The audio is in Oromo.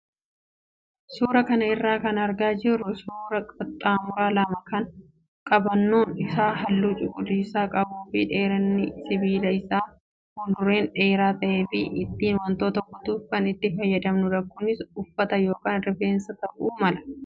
Suuraa kana irraa kan argaa jirru suuraa qaxxaamuraa lama kan qabannoon isaa halluu cuquliisaa qabuu fi dheerinni sibiila isaa fuulduraan dheeraa ta'ee fi ittiin wantoota kutuuf kan itti fayyadamnudha. Kunis uffata yookaan rifeensa ta'uu mala.